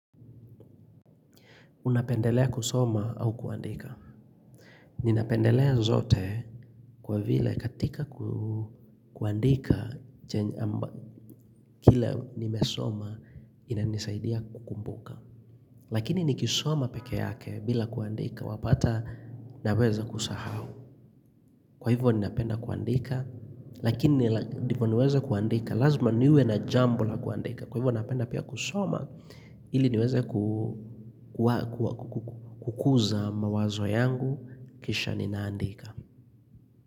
Unapendelea kusoma au kuandika? Ninapendelea zote kwa vile katika kuandika, kile nimesoma inanisaidia kukumbuka. Lakini nikisoma peke yake bila kuandika, wapata naweza kusahau. Kwa hivyo ninapenda kuandika, lakini ndipo niweze kuandika, lazima niwe na jambo la kuandika. Kwa hivyo napenda pia kusoma, ili niweze kukuza mawazo yangu, kisha ninaandika.